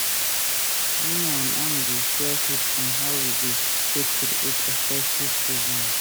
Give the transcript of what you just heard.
Me and am dey share tips on how we go take create effective resume